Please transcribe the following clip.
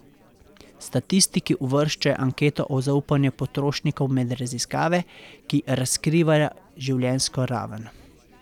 Statistiki uvrščajo anketo o zaupanju potrošnikov med raziskave, ki razkrivajo življenjsko raven.